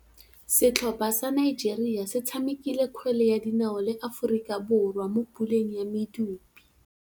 Setlhopha sa Nigeria se tshamekile kgwele ya dinaô le Aforika Borwa mo puleng ya medupe.